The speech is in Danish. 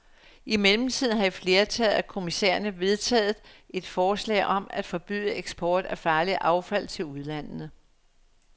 I mellemtiden har et flertal af kommissærerne vedtaget et forslag om at forbyde eksport af farligt affald til ulandene.